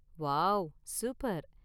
Wow, super.